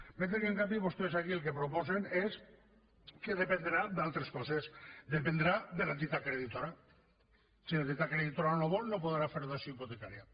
mentre que en canvi vostès aquí el que proposen és que dependrà d’altres coses dependrà de l’entitat creditora si l’entitat creditora no vol no podrà fer dació hipotecària